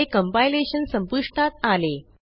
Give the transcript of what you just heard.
हे कंपायलेशन संपुष्टात आले